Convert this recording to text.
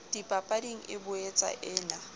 dipapading e boetsa e na